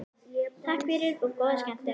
Takk fyrir og góða skemmtun.